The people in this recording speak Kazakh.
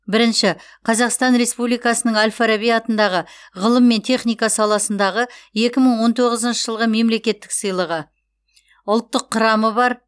бірінші қазақстан республикасының әл фараби атындағы ғылым мен техника саласындағы екі мың он тоғызыншы жылғы мемлекеттік сыйлығы ұлттық құрамы бар